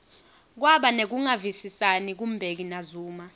kwaba nekungavisisani ku mbeki na zuma